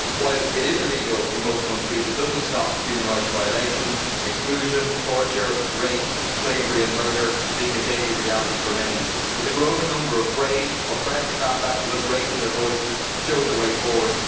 While it is illegal in most countries, it does not stop human rights violations, exclusion, torture, rape, slavery and murder being a daily reality for many. But the growing number of brave, oppressed caste activists raising their voices shows a way forward.